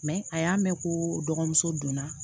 a y'a mɛn ko dɔgɔmuso donna